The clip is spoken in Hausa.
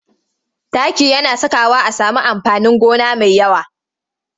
Taki yana sakawa a sami amfanin gona mai yawa.